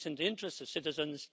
It's in the interest of citizens.